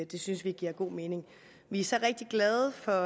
det synes vi giver god mening vi er så rigtig glade for